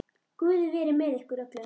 Guð veri með ykkur öllum.